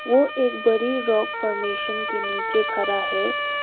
वो एक बड़ी रॉक फॉर्मेशन के नीचे खड़ा है।